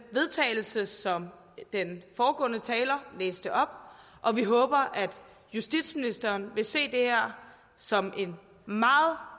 vedtagelse som den foregående taler læste op og vi håber at justitsministeren vil se det her som en meget